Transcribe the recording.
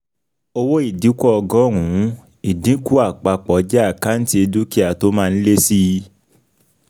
Owó ìdínkù ọgọ́rùn-ún, ìdínkù àpapọ̀ jẹ́ àkáǹtì dúkìá tó máa ń lé síi.